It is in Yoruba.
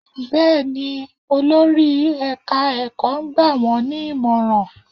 Bẹ́ẹ̀ ni, olórí ẹ̀ka ẹ̀kọ́ ń gbà wọ́n ní ìmọ̀ràn